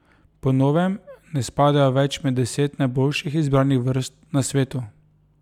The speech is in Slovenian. Po novem ne spadajo več med deset najboljših izbranih vrst na svetu.